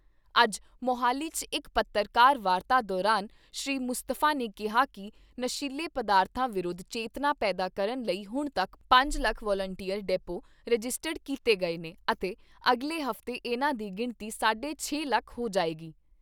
ਅੱਜ ਮੋਹਾਲੀ 'ਚ ਇਕ ਪੱਤਰਕਾਰ ਵਾਰਤਾ ਦੌਰਾਨ ਸ੍ਰੀ ਮੁਸਤਫਾ ਨੇ ਕਿਹਾ ਕਿ ਨਸ਼ੀਲੇ ਪਦਾਰਥਾਂ ਵਿਰੁੱਧ ਚੇਤਨਾ ਪੈਦਾ ਕਰਨ ਲਈ ਹੁਣ ਤੱਕ ਪੰਜ ਲੱਖ ਵਲੰਟੀਅਰ ਡੈਪੋ ਰਜਿਸਟਰਡ ਕੀਤੇ ਗਏ ਨੇ ਅਤੇ ਅਗਲੇ ਹਫ਼ਤੇ ਇਨ੍ਹਾਂ ਦੀ ਗਿਣਤੀ ਸਾਢੇ ਛੇ ਲੱਖ ਹੋ ਜਾਏਗੀ।